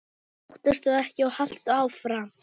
Óttastu ekki og haltu áfram!